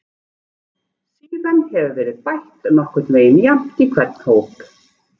Síðan hefur verið bætt nokkurn veginn jafnt í hvern hóp.